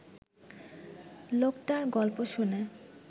লোকটার গল্প শুনে